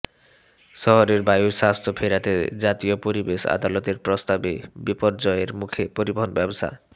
শহরের বায়ুর স্বাস্থ্য ফেরাতে জাতীয় পরিবেশ আদালতের প্রস্তাবে বিপর্যয়ের মুখে পরিবহণ ব্যবসা